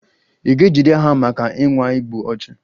A ga-ejide ha maka ịnwa igbu ọchụ?